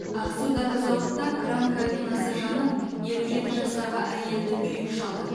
ақсудағы зауытта кран кабинасы жанып елу жеті жастағы әйелді күйік шалды